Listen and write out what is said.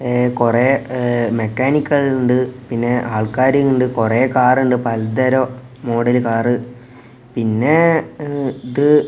ഏ കൊറെ ഏ മെക്കാനിക്കുകൾ ഉണ്ട് പിന്നെ ആൾക്കാരുണ്ട് കൊറേ കാറുണ്ട് പലതരം മോഡൽ കാർ പിന്നെ ഇ ഇത് --